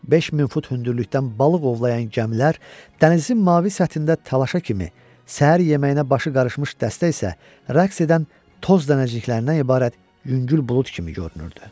5000 fut hündürlükdən balıq ovlayan gəmilər, dənizin mavi səthində talaşa kimi, səhər yeməyinə başı qarışmış dəstə isə rəks edən toz dənəciklərindən ibarət yüngül bulud kimi görünürdü.